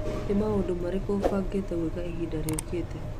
Nĩ maũndũ marĩkũ ũbangĩte gwĩka ihinda rĩũkĩte?